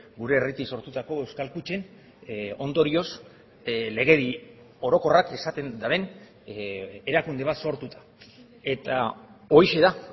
gure herritik sortutako euskal kutxen ondorioz legedi orokorrak esaten duen erakunde bat sortuta eta horixe da